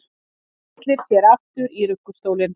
Tyllir sér aftur í ruggustólinn.